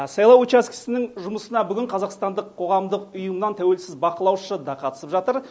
сайлау учаскесінің жұмысына бүгін қазақстандық қоғамдық ұйымнан тәуелсіз бақылаушы да қатысып жатыр